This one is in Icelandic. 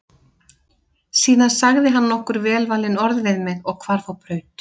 Síðan sagði hann nokkur velvalin orð við mig og hvarf á braut.